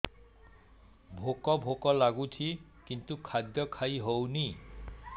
ଭୋକ ଭୋକ ଲାଗୁଛି କିନ୍ତୁ ଖାଦ୍ୟ ଖାଇ ହେଉନି